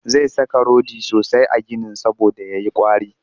Zai saka rodi sosai a ginin saboda ya yi ƙwari